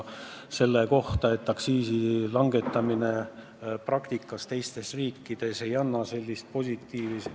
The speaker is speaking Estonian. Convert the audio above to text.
Teistes riikides aktsiisi langetamine ei ole praktikas nii positiivset tulemust andnud.